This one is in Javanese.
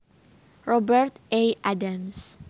Robert A Adams